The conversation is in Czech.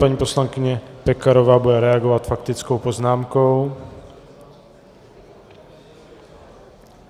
Paní poslankyně Pekarová bude reagovat faktickou poznámkou.